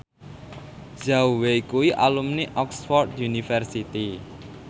Zhao Wei kuwi alumni Oxford university